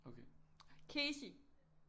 Kesi